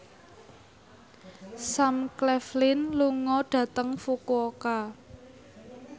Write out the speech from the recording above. Sam Claflin lunga dhateng Fukuoka